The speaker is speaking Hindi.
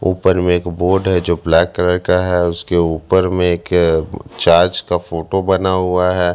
ऊपर में एक बोर्ड है जो ब्लैक कलर का है उसके ऊपर में एक चार्ज का फोटो बना हुआ है।